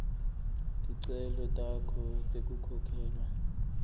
ticelo takho tekukhokhelwa